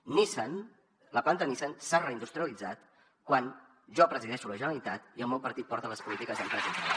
nissan la planta de nissan s’ha reindustrialitzat quan jo presideixo la generalitat i el meu partit porta les polítiques d’empresa i treball